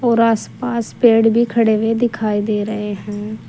और आस पास पेड़ भी खड़े हुए दिखाई दे रहे हैं।